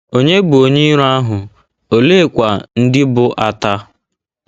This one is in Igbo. Ònye bụ onye iro ahụ, oleekwa ndị bụ́ ata?